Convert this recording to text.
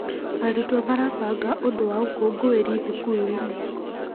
Arutwo marabanga ũndũ wa ũkũngũĩri thukuru-inĩ.